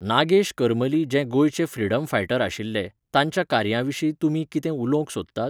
नागेश करमली जे गोंयचे freedom fighter आशिल्ले, तांच्या कार्या विशीं तुमी कितें उलोवंक सोदतात?